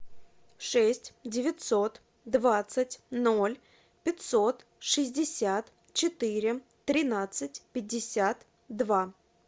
шесть девятьсот двадцать ноль пятьсот шестьдесят четыре тринадцать пятьдесят два